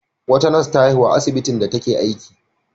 Wata nas ta haihu a asbitin da take aiki.